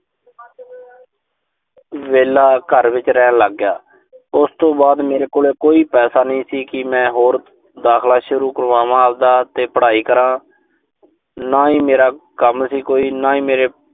ਵਿਹਲਾ ਘਰ ਵਿੱਚ ਰਹਿਣ ਲਾਗਿਆ। ਉਸ ਤੋਂ ਬਾਅਦ ਮੇਰੇ ਕੋਲ ਕੋਈ ਪੈਸਾ ਨੀਂ ਸੀ ਕਿ ਮੈਂ ਹੋਰ ਦਾਖਲਾ ਸ਼ੁਰੂ ਕਰਵਾਵਾਂ ਆਬਦਾ ਤੇ ਪੜ੍ਹਾਈ ਕਰਾਂ। ਨਾ ਹੀ ਮੇਰਾ ਕੰਮ ਸੀ ਕੋਈ। ਨਾ ਹੀ ਮੇਰੇ